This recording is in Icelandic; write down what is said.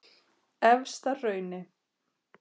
Efstahrauni